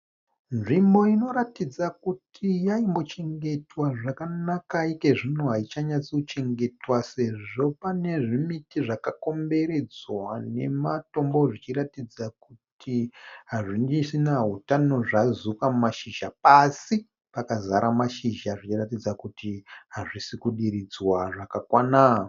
Nzvimbo inoratidza kuti yaimbochengetwa zvakanaka, iko zvino haichanyatsochengetwa sezvo pane zvimiti zvakakomberedzwa nematombo, zvichiratidza kuti hazvisisina utano, zvazuka mashizha pasi pakazara mashizha zvichiratidza kuti hazvisiri kudiridzwa zvakakwana.